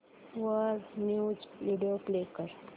वर news video play कर